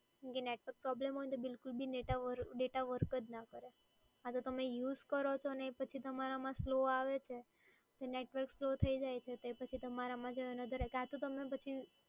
network problem હોય તો data work જ ના કરે. અને તમે use કરો છો અને તમારામાં slow આવે છે, network slow થઈ જાય છે. તમારામા કાં તો પછી